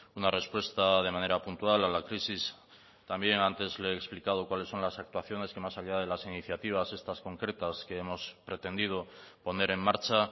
una respuesta de manera puntual a la crisis también antes le he explicado cuáles son las actuaciones que más allá de las iniciativas estas concretas que hemos pretendido poner en marcha